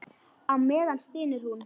Á meðan stynur hún.